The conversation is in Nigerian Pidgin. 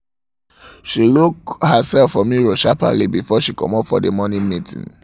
she look herself for mirror shapperly before she comot for the morning meeting